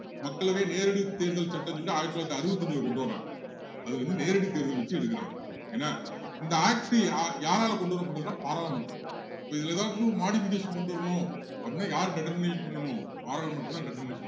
மக்களவை நேரடி தேர்தல் சட்டம்னு சொல்லி ஆயிரத்து தொள்ளாயிரத்து அறுபத்து அஞ்சுல கொண்டுவர்றாங்க அதுலருந்து நேரடி தேர்தல் வச்சி எடுக்குறாங்க ஏன்னா இந்த act யா`யாரால கொண்டுவரப்பட்டதுன்னா பாராளுமன்றம் இப்போ இதுல ஏதாவது modification கொண்டு வரணும் அப்படின்னா யாரு determine பண்ணணும் பாராளுமன்றம் தான் determination பண்ணணும்